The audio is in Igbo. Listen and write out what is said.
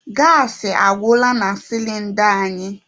Gaasị agwụla na sịlịnda anyị.